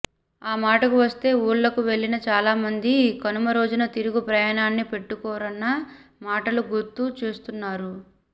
ఆ మాటకు వస్తే ఊళ్లకు వెళ్లిన చాలామంది కనుమ రోజున తిరుగు ప్రయాణాన్ని పెట్టుకోరన్న మాటను గుర్తు చేస్తున్నారు